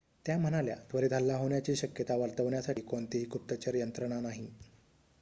त्या म्हणाल्या त्वरित हल्ला होण्याची शक्यता वर्तवण्यासाठी कोणतीही गुप्तचर यंत्रणा नाही